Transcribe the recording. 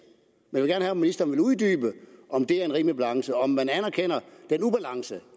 men jeg vil om ministeren vil uddybe om det er en rimelig balance og om man anerkender ubalancen